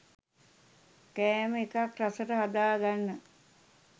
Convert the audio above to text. කෑම එකක් රසට හදාගන්න